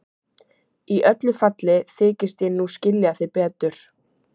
Í öllu falli þykist ég nú skilja þig betur.